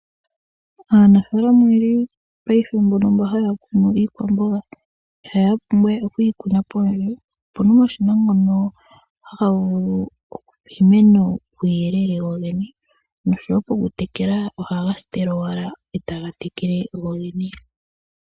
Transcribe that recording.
Aanafalama oyeli paife mbono haya kunu iikwamboga ihaya pumbwa we okuyi kuna pondje opuna omashina ngono haga vulu okupa iimeno uuyelele wowene noshowo oku tekela ohaga tekele gogene.